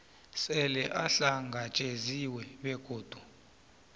sele uhlangatjeziwe begodu